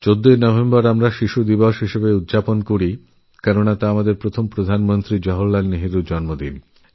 ১৪ইনভেম্বর আমরা আমাদের প্রথম প্রধানমন্ত্রী জওহরলাল নেহরুর জন্মদিনকে শিশু দিবসহিসেবে পালন করি